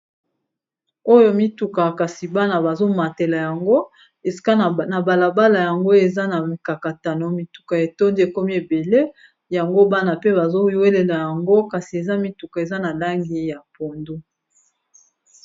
Oyo mituka kasi bana bazomatela yango esika na balabala yango eza na mikakatano mituka ya etondi ekomi ebele yango bana pe bazowelela yango kasi eza mituka eza na langi ya pondu.